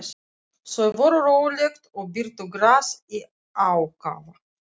Þau voru róleg og bitu gras í ákafa.